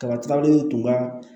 Kaba in tun ka